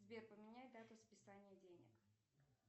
сбер поменяй дату списания денег